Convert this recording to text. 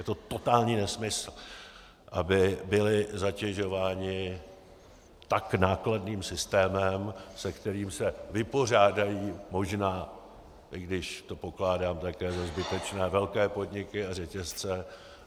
Je to totální nesmysl, aby byli zatěžováni tak nákladným systémem, se kterým se vypořádají možná, i když to pokládám také za zbytečné, velké podniky a řetězce.